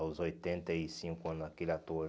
Aos oitenta e cinco anos, aquele ator...